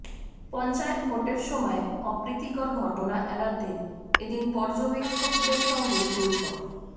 পঞ্চায়েত ভোটের সময় অপ্রীতিকর ঘটনা এড়াতে এদিন পর্যবেক্ষকদের সঙ্গে বৈঠক